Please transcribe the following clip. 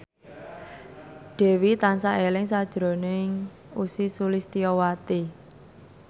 Dewi tansah eling sakjroning Ussy Sulistyawati